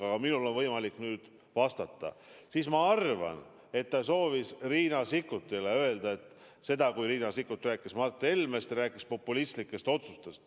Aga minul on võimalik nüüd vastata ja ma arvan, et ta soovis midagi öelda Riina Sikkutile, kes rääkis Mart Helmest ja populistlikest otsustest.